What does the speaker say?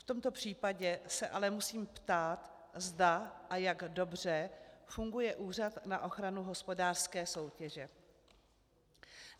V tomto případě se ale musím ptát, zda a jak dobře funguje Úřad na ochranu hospodářské soutěže.